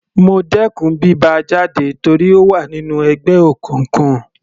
Mo dẹkùn bí bá a jáde torí ó wà nínú ẹgbẹ́ òkùnkùn.